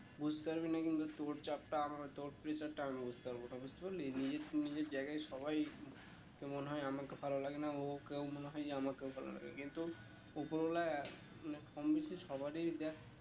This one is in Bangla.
বুঝতে পারবি না কিন্তু তোর চাপটা আমার তোর pressure টা আমি বুঝতে পারবো না বুঝতে পারলি নিজের নিজের জায়গায় সবাই কে মনে হয়ে আমাকে ভালো লাগে না ও ওকে মনে হয়ে যে আমাকেও ভালো লাগে না কিন্তু উপরওয়ালা মানে কম বেশি সবারই দেখ